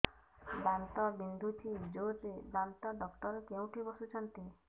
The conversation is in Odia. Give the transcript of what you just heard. ଦାନ୍ତ ବିନ୍ଧୁଛି ଜୋରରେ ଦାନ୍ତ ଡକ୍ଟର କୋଉଠି ବସୁଛନ୍ତି